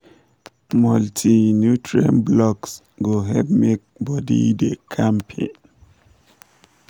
multi-nutrient blocks go help to make body da kampe.